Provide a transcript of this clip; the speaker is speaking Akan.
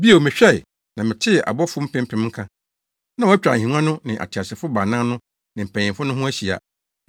Bio mehwɛe, na metee abɔfo mpempem nka. Na wɔatwa ahengua no ne ateasefo baanan no ne mpanyimfo no ho ahyia